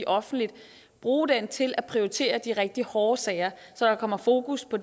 offentligt og bruge det til at prioritere de rigtig hårde sager så der kommer fokus på